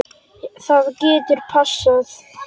Það getur passað.